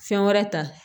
Fɛn wɛrɛ ta